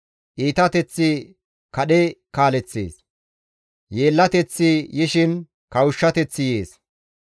Iitateththi kadhe kaaleththees; yeellateththi yishin kawushshateththi yees.